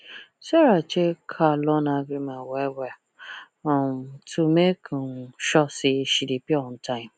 sarah check her loan agreement well well um to make um sure say she dey pay on time